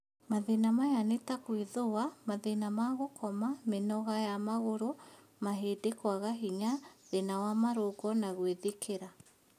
Mathĩna maya nĩ ta gwĩthũa, mathĩna ma gũkoma , mĩnoga ya magũrũ, mahĩndĩ kwaga hinya, thĩna wa marũngo na gwĩthikĩra